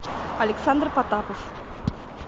александр потапов